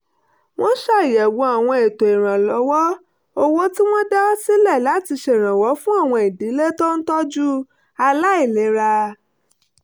wọ́n ṣàyẹ̀wò àwọn ètò ìrànwọ́ owó tí wọ́n dá sílẹ̀ láti ṣèrànwọ́ fún àwọn ìdílé tó ń tọ́jú àwọn aláìlera